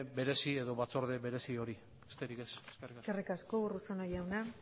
berezi edo batzorde berezi hori besterik ez eskerrik asko eskerrik asko urruzuno jauna